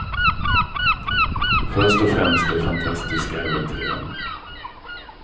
Först och främst de fantastiska äventyren.